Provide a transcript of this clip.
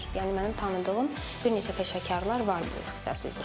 Yəni mənim tanıdığım bir neçə peşəkarlar var bu ixtisas üzrə.